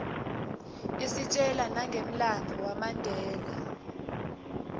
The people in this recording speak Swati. istjela nanqemlanbuo wanbela